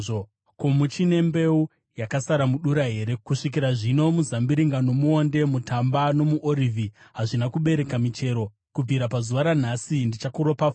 Ko, muchine mbeu yakasara mudura here? Kusvikira zvino, muzambiringa nomuonde, mutamba nomuorivhi hazvina kubereka michero. “ ‘Kubvira pazuva ranhasi ndichakuropafadzai.’ ”